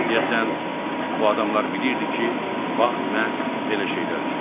Deyəsən, bu adamlar bilirdi ki, vaxt məhz belə şeylər üçündür.